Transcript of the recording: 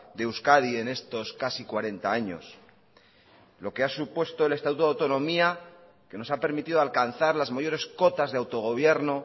de euskadi en estos casi cuarenta años lo que ha supuesto el estatuto de autonomía que nos ha permitido alcanzar las mayores cotas de autogobierno